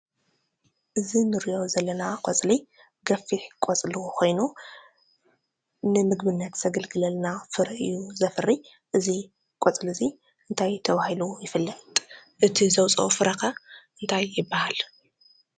እዚ ንሪኦ ዘለና ቆፅሊ ገፊሕ ቆፅሉ ኮይኑ ንምግብነት ዘገልግለና ፍረ እዩ ዘፍሪ ።እዚ ቆፅሊ እዚ እንታይ ተባሂሉ ይፍለጥ ? እቲ ዘውፀኦ ፍረ ከ እንታይ ይበሃል ?